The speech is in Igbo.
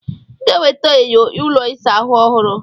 Ị ga-eweta enyo ụlọ ịsa ahụ ọhụrụ.